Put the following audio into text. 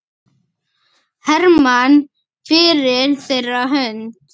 Hermann fyrir þeirra hönd.